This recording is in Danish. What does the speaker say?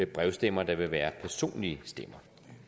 brevstemmer der vil være personlige stemmer